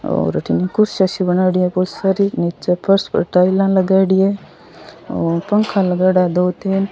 और अठीने कुर्सियां सी बनायेडी है भोत सारी नीच फर्श पर टाइला लगाइडी है और पंखा लगायेड़ा है दो तीन।